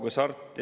Mart Helme, palun!